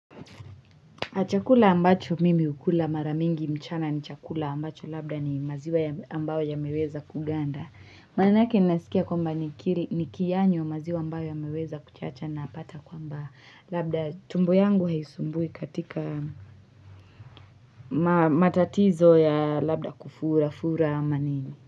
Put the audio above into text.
Chakula ambacho mimi hukula mara mingi mchana ni chakula ambacho labda ni maziwa ambayo yameweza kuganda. Manake nasikia kwamba nikiyanywa maziwa ambayo yameweza kuchacha napata kwamba labda tumbo yangu haisumbui katika matatizo ya labda kufura, fura, ama nini.